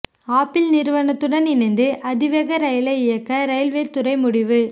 apple நிறுவனத்துடன் இணைந்து அதிவேக ரயிலை இயக்க ரயில்வே துறை முடிவு